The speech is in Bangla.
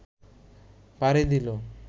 পাড়ি দিল